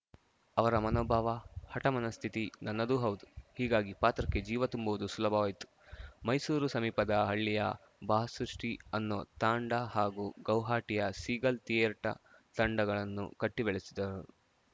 ಅವರ ಮನೋಭಾವ ಹಠ ಮನಸ್ಥಿತಿ ನನ್ನದೂ ಹೌದು ಹೀಗಾಗಿ ಪಾತ್ರಕ್ಕೆ ಜೀವ ತುಂಬುವುದು ಸುಲಭವಾಯ್ತು ಮೈಸೂರು ಸಮೀಪದ ಹಳ್ಳಿಯ ಬಾ ಸೃಷ್ಟಿ ಅನ್ನೋ ತಾಂಡ ಹಾಗು ಗೌಹಾಟಿಯ ಸೀಗಲ್‌ ಥಿಯೇಟ ತಂಡಗಳನ್ನು ಕಟ್ಟಿಬೆಳೆಸಿದ